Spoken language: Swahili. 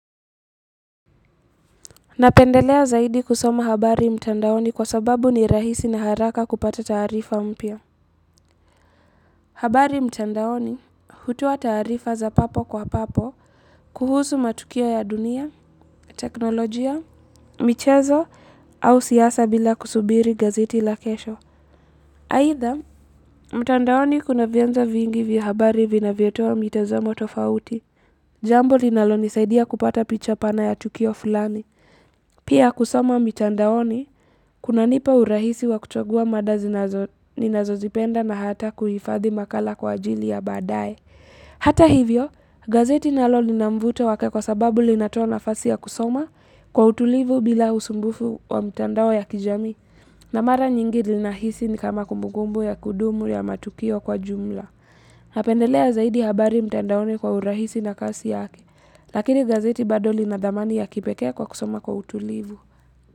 Napendelea zaidi kusoma habari mtandaoni kwa sababu ni rahisi na haraka kupata taarifa mpya habari mtandaoni hutua taarifa za papo kwa papo kuhusu matukio ya dunia, teknolojia, michezo au siasa bila kusubiri gazeti la kesho. Aitha, mtandaoni kuna vianzo vingi vya habari vinavyotoa mitazamo tofauti. Jambo linalonisaidia kupata picha pana ya tukio fulani. Pia kusoma mitandaoni, kunanipa urahisi wa kuchagua mada ninazozipenda na hata kuhifathi makala kwa ajili ya badae Hata hivyo, gazeti nalo linamvuto wake kwa sababu linatoa nafasi ya kusoma kwa utulivu bila usumbufu wa mitandao ya kijamii na mara nyingi linahisi ni kama kumbukumbu ya kudumu ya matukio kwa jumla Napendelea zaidi habari mitandaoni kwa urahisi na kasi yake Lakini gazeti bado linadhamani ya kipekee kwa kusoma kwa utulivu.